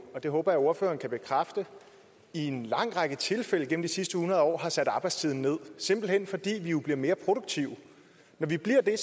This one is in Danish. og det håber jeg ordføreren kan bekræfte i en lang række tilfælde gennem de sidste hundrede år har sat arbejdstiden ned simpelt hen fordi vi jo bliver mere produktive når vi bliver